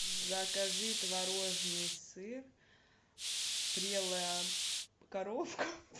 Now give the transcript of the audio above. закажи творожный сыр прелая коровка